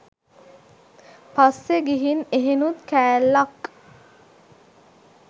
පස්සෙ ගිහින් එහෙනුත් කෑල්ලක්